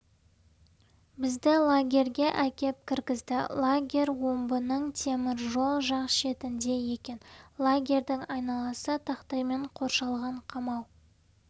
бізді лагерьге әкеп кіргізді лагерь омбының темір жол жақ шетінде екен лагерьдің айналасы тақтаймен қоршалған қамау